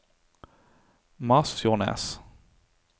Masfjordnes